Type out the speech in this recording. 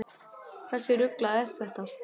Hversu ruglað er þetta?